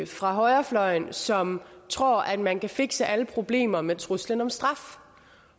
fra højrefløjen som tror at man kan fikse alle problemer med truslen om straf